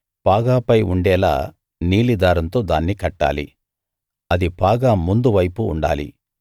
పాగాపై ఉండేలా నీలి దారంతో దాన్ని కట్టాలి అది పాగా ముందు వైపు ఉండాలి